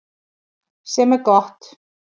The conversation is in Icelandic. Sem er gott